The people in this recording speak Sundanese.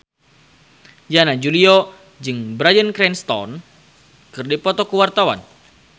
Yana Julio jeung Bryan Cranston keur dipoto ku wartawan